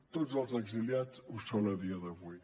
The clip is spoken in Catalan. tots els exiliats ho són a dia d’avui